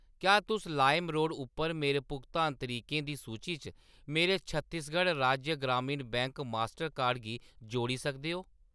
क्या तुस लाइमरोड उप्पर मेरे भुगतान तरीकें दी सूची च मेरे छत्तीसगढ़ राज्य ग्रामीण बैंक मास्टर कार्ड गी जोड़ी सकदे ओ ?